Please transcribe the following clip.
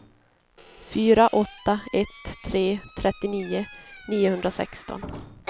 fyra åtta ett tre trettionio niohundrasexton